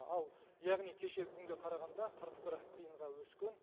ал күнге қарағанда қырық бір тиынға өскен